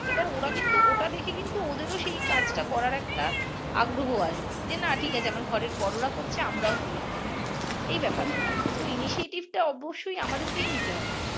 এবার ওরা কিন্তু ওটা দেখে কিন্তু ওদের ও সেই কাজ টা করার একটা আগ্রহ আসবে যে না ঠিক আছে আমার ঘরের বড়রা করছে আমরা ও করি এই ব্যাপার টা তো initiative টা অবশ্যই আমাদেরকেই নিতে হবে